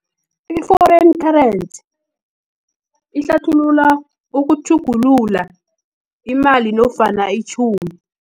I-foreign currency, ihlathulula ukutjhugulula imali, nofana itjhumi.